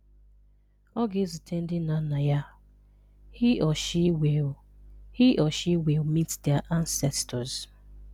Ọ ga-ezute ndị nna nna ya. (He/she will (He/she will meet their ancestors.)